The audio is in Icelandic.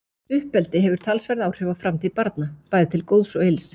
Uppeldi hefur talsverð áhrif á framtíð barna, bæði til góðs og ills.